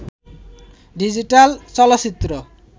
digital চলচ্চিত্র